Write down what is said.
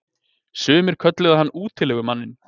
Sumir kölluðu hann útilegumanninn.